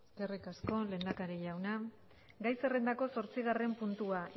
eskerrik asko lehendakari jauna gai zerrendako zortzigarren puntua